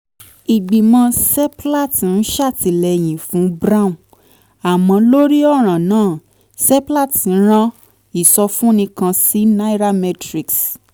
ìgbìmọ̀ seplat ń ṣètìlẹ́yìn fún brown: àmọ́ lórí ọ̀ràn náà seplat rán ìsọfúnni kan sí nairametrics